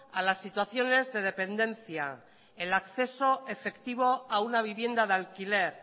a la situaciones de dependencia el acceso efectivo a una vivienda de alquiler